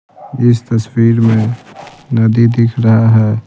इस तस्वीर में नदी दिख रहा है।